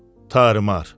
Tarmar.